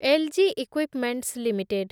LG equipments limited